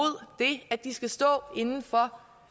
det at de skal stå indenfor